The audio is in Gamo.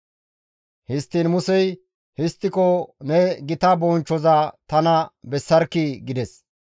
Histtiin Musey, «Histtiko ne gita bonchchoza tana bessarkkii?» gides.